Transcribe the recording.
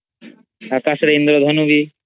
ଅକାଶ ରେ ଇନ୍ଦ୍ରଧନୁ ହୁଏ